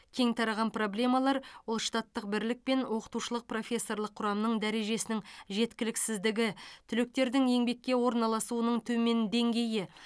кең тараған проблемалар ол штаттық бірлік пен оқытушылық профессорлық құрамның дәрежесінің жеткіліксіздігі түлектердің еңбекке орналасуының төмен деңгейі